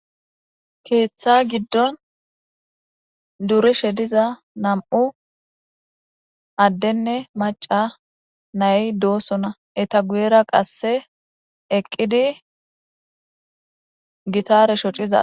Keetha gidon durishe diza nam'u adenne maca nay doosona eta guyera qase eqidi gitare shociza